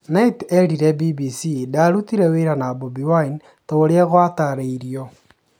Knight erĩre BBC,ndarutire wĩra na Bobi wine ta ũrĩa gwatarĩrio.